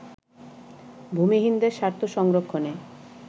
ভূমিহীনদের স্বার্থ সংরক্ষণে